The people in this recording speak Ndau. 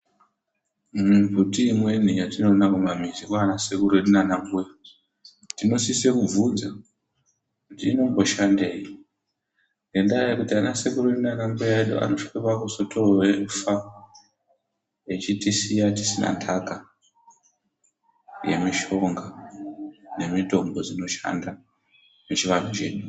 Mumbuti imweni yetinoona mumamizi mwaana sekuru edu naanambuya, tinosise kubvunza kuti inomboshandei. Ngendaa yekuti ana sekuru edu naana mbuya edu anozosvika pakuzotofa, echitisiya tisina ntaka yemishonga nemitombo dzinoshanda muchivanhu chedu.